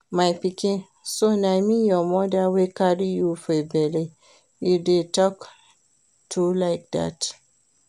My pikin, so na me your mother wey carry you for bele you dey talk to like dat